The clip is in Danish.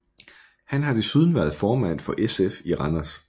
Han har desuden været formand for SF i Randers